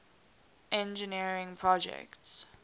engineering projects